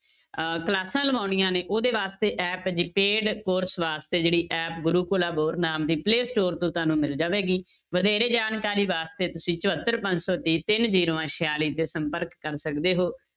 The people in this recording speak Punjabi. ਅਹ ਕਲਾਸਾਂ ਲਗਾਉਣੀਆਂ ਨੇ ਉਹਦੇ ਵਾਸਤੇ app ਹੈ ਜੀ paid course ਵਾਸਤੇ ਜਿਹੜੀ app ਗੁਰੂਕੁਲ ਆ ਨਾਮ ਦੀ play store ਤੋਂ ਤੁਹਾਨੂੰ ਮਿਲ ਜਾਵੇਗੀ, ਵਧੇਰੇ ਜਾਣਕਾਰੀ ਵਾਸਤੇ ਤੁਸੀਂ ਚੁਹੱਤਰ ਪੰਜ ਸੌ ਤੀਹ ਤਿੰਨ ਜ਼ੀਰੋਆਂ ਛਿਆਲੀ ਤੇ ਸੰਪਰਕ ਕਰ ਸਕਦੇ ਹੋ